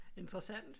Interessant